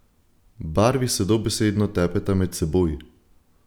Barvi se dobesedno tepeta med seboj!